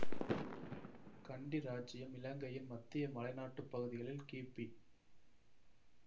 கண்டி இராச்சியம் இலங்கையின் மத்திய மலைநாட்டுப் பகுதியில் கிபி